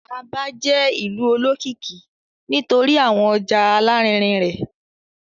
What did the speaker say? Aba jẹ ìlú olókìkí nítorí awọn ọja alarinrin rẹ.